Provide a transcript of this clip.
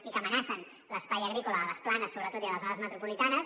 i que amenacen l’espai agrícola a les planes sobretot i a les zones metropolitanes